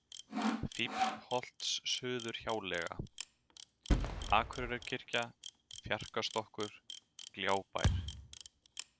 Fíflsholtssuðurhjáleiga, Akureyjarkirkja, Fjarkastokkur, Gljábær